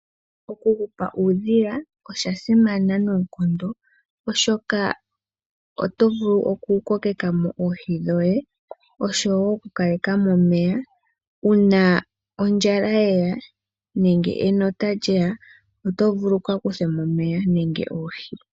Okuhupa oodhiyanosha simana noonkondo oshoka otovulu oku kokekamo oohi dhoye oshowo oku kalekamo omeya ,uuna ondjala yeya nenge enota lyeya otovulu wu kakakuthemo omeya nenge oohi.